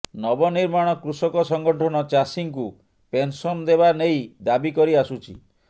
ନବ ନିର୍ମାଣ କୃଷକ ସଂଗଠନ ଚାଷୀଙ୍କୁ ପେନସନ ଦେବା ନେଇ ଦାବି କରିଆସୁଛି